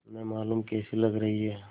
न मालूम कैसी लग रही हैं